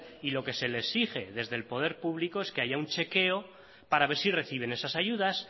y lo que se le exige desde el poder público es que haya un chequeo para ver si reciben esas ayudas